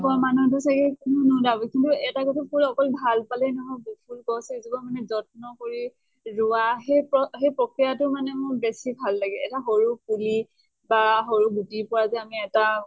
পোৱা মানুহটো চাগে কোনো নোলাব, কিন্তু এটা কথা ফুল অকল ভাল পালে নহব। ফুল গছ এজোপা মানে যত্ন কৰি ৰোৱা সেই প সেই প্ৰক্ৰিয়াটো মানে মোৰ বেছি ভাল লাগে। এটা সৰু পুলি বা সৰু গুটিৰ পৰা যে আমি এটা